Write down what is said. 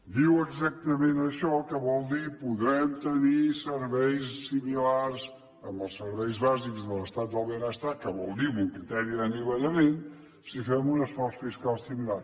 diu exactament això que vol dir podrem tenir serveis similars en els serveis bàsics de l’estat del benestar que vol dir amb un criteri d’anivellament si fem un esforç fiscal similar